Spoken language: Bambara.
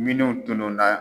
Minnuw tunun na.